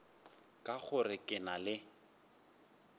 ka gore ke na le